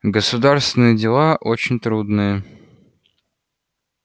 государственные дела очень трудные